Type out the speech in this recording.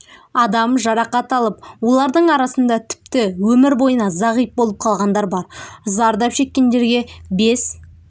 адам жарақат алып олардың арасында тіпті өмір бойына зағип болып қалғандар бар зардап шекккендерге бес